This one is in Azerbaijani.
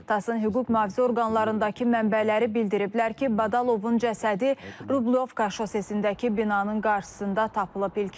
TASS-ın hüquq-mühafizə orqanlarındakı mənbələri bildiriblər ki, Badalovun cəsədi Rublyovka şossesindəki binanın qarşısında tapılıb.